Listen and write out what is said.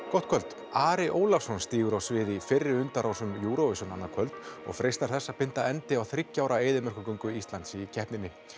gott kvöld Ari Ólafsson stígur á svið í fyrri undanrásum Eurovision annað kvöld og freistar þess að binda endi á þriggja ára eyðimerkurgöngu Íslands í keppninni